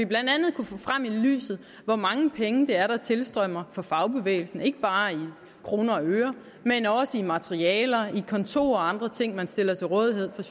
blandt andet kunne få frem i lyset hvor mange penge det er der tilstrømmer fra fagbevægelsen ikke bare i kroner og øre men også i materialer i kontorer og andre ting den stiller til rådighed jeg